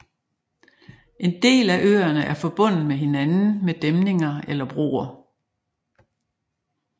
En del af øerne er forbundet med hinanden med dæmninger eller broer